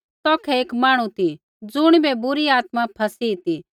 तौखै एक मांहणु ती ज़ुणिबै बुरी आत्मा फ़ैसी ती